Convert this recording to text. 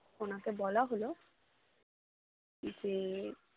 ওনাকে বলা হলো যে